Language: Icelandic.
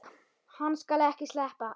Hann skal ekki sleppa!